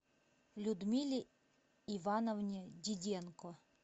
людмиле ивановне диденко